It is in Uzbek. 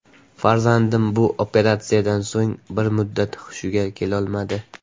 Farzandim bu operatsiyadan so‘ng bir muddat hushiga kelolmadi.